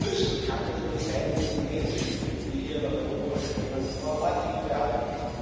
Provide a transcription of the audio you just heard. Schlüssel kann doch nur sein, dass die Menschen, die hier nach Europa strömen, vor Ort Hilfe erhalten.